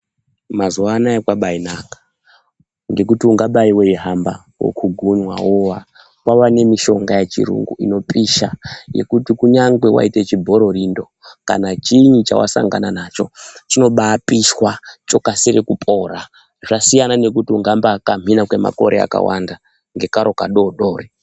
Mazuwa anaya kwabainaka ngekuti ungabai hweihamba, wokugunwa, wowa, kwawa nemishonga yechitungu inopisha, yekuti kunyangwe waite chibhororindo kana chiinyi chawa sangana nacho, chinobapishwa chokasire kupora. Zvasiyana ngekuti ungambaikamhina kwemamakore akawanda ngekaro kadodori.